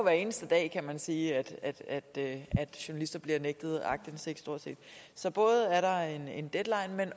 eneste dag kan man sige at journalister bliver nægtet aktindsigt så er der en deadline jeg